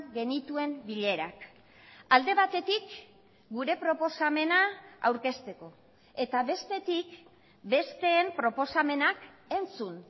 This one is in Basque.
genituen bilerak alde batetik gure proposamena aurkezteko eta bestetik besteen proposamenak entzun